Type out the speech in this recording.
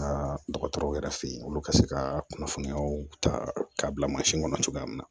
Aa dɔgɔtɔrɔw yɛrɛ fɛ yen olu ka se ka kunnafoniyaw ta k'a bila mansin kɔnɔ cogoya min na